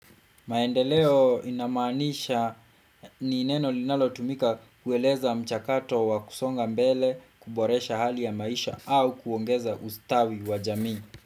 Maendeleo inamaanisha ni neno linalo tumika kueleza mchakato wa kusonga mbele kuboresha hali ya maisha au kuongeza ustawi wa jamii.